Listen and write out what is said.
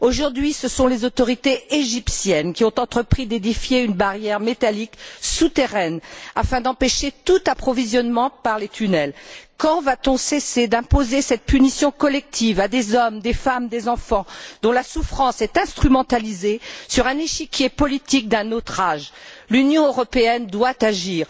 Aujourd'hui, ce sont les autorités égyptiennes qui ont entrepris d'édifier une barrière métallique souterraine, afin d'empêcher tout approvisionnement par les tunnels. Quand va t on cesser d'imposer cette punition collective à des hommes, des femmes, des enfants, dont la souffrance est instrumentalisée sur un échiquier politique d'un autre âge? L'Union européenne doit agir.